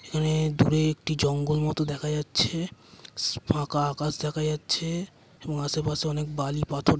এখানে দূরে একটা জঙ্গল মত দেখা যাচ্ছে। ফাঁকা আকাশ দেখা যাচ্ছে। এবং আশেপাশে অনেক বালি পাথর --